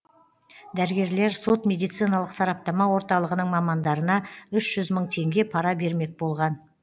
дәрігерлер сот медициналық сараптама орталығының мамандарына үш жүз мың теңге пара бермек болған